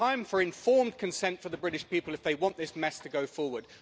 It is time for informed consent for the British people if they want this mess to go forward.